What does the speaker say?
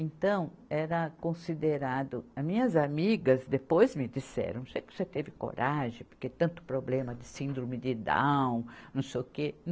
Então, era considerado, a minhas amigas depois me disseram, não sei se você teve coragem, porque tanto problema de síndrome de Down, não sei o quê.